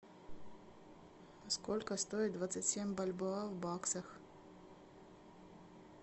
сколько стоит двадцать семь бальбоа в баксах